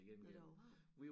Nåh der var varmt